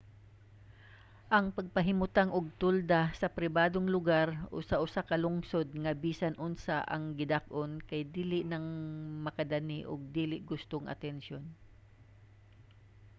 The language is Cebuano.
ang pagpahimutang og tolda sa pribadong lugar o sa usa ka lungsod nga bisan unsa ang gidak-on kay dali rang makadani og dili gustong atensiyon